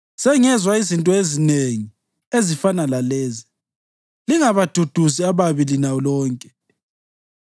“Sengezwa izinto ezinengi ezifana lalezi; lingabaduduzi ababi lina lonke!